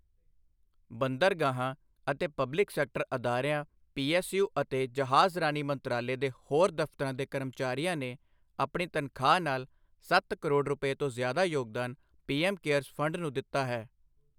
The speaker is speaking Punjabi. ਬੰਦਰਗਾਹਾਂ ਅਤੇ ਪਬਲਿਕ ਸੈਕਟਰ ਅਦਾਰਿਆਂ ਪੀਐੱਸਯੂ ਅਤੇ ਜਹਾਜ਼ਰਾਨੀ ਮੰਤਰਾਲੇ ਦੇ ਹੋਰ ਦਫ਼ਤਰਾਂ ਦੇ ਕਰਮਚਾਰੀਆਂ ਨੇ ਆਪਣੀ ਤਨਖ਼ਾਹ ਨਾਲ ਸੱਤ ਕਰੋੜ ਰੁਪਏ ਤੋਂ ਜ਼ਿਆਦਾ ਯੋਗਦਾਨ ਪੀਐੱਮ ਕੇਅਰਸ ਫੰਡ ਨੂੰ ਦਿੱਤਾ ਹੈ।